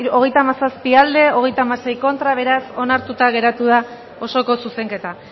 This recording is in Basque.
hogeita hamazazpi boto aldekoa treinta y seis contra beraz onartuta geratu da osoko zuzenketa